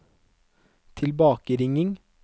tilbakeringing